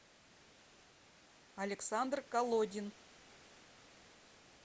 александр колодин